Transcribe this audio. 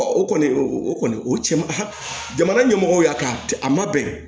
o kɔni o kɔni o cɛ man h jamana ɲɛmɔgɔw y'a kɛ a ma bɛn